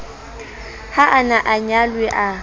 ha a na anyalwe a